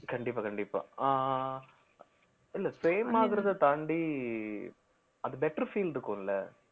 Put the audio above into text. கண்டிப்பா கண்டிப்பா ஆஹ் இல்ல fame ஆகுறதை தாண்டி அது better feel இருக்கும்ல